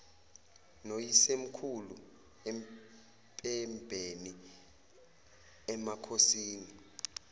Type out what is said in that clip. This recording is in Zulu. noyisemkhulu empembeni emakhosini